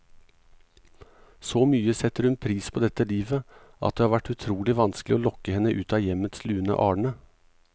Så mye setter hun pris på dette livet, at det har vært utrolig vanskelig å lokke henne ut av hjemmets lune arne.